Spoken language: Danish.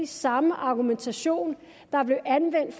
samme argumentation der blev anvendt